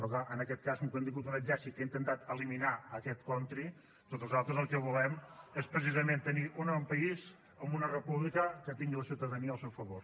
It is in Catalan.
però clar en aquest cas com que hem tingut un exèrcit que ha intentat eliminar aquest country doncs nosaltres el que volem és precisament tenir un país amb una república que tingui la ciutadania al seu favor